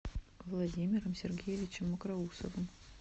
владимиром сергеевичем мокроусовым